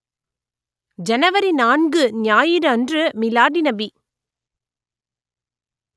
ஜனவரி நான்கு ஞாயிறு அன்று மீலாதுநபி